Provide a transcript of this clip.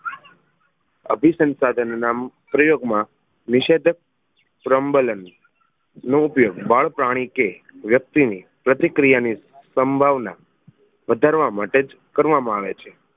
અભિસંસાધન ના પ્રયોગ માં નિષેધક પ્રબલન નો ઉપયોગ બાળપ્રાણી કે વ્યક્તિ ની પ્રતિક્રિયા ની સંભાવના વધારવા માટે જ કરવામાં આવે છે